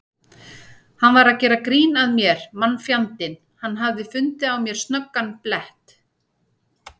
Hann var að gera grín að mér karlfjandinn, hann hafði fundið á mér snöggan blett.